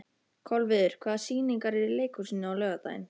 Kolviður, hvaða sýningar eru í leikhúsinu á laugardaginn?